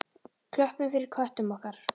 Klöppum fyrir köttum okkar!